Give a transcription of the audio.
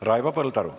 Raivo Põldaru.